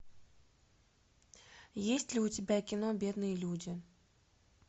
есть ли у тебя кино бедные люди